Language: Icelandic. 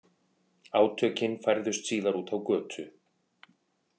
Átökin færðust síðar út á götu